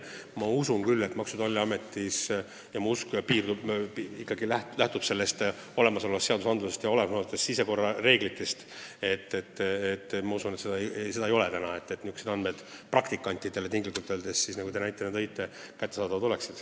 Ma usun küll – ja mu usk tugineb olemasolevatele seadustele ja sisekorrareeglitele –, et Maksu- ja Tolliametis tundlikud andmed praktikantidele kättesaadavad ei ole.